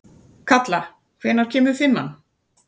Kalla, hvenær kemur fimman?